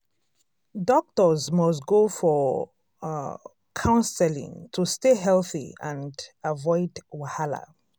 doctors must go for um counseling to stay healthy and avoid wahala.